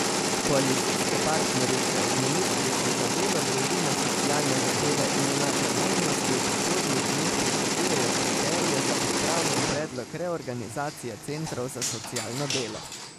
Koalicijske partnerice od ministrice za delo, družino, socialne zadeve in enake možnosti v prihodnjih dneh pričakujejo kriterije za pripravljen predlog reorganizacije centrov za socialno delo.